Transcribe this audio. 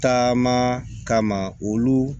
Taama kama olu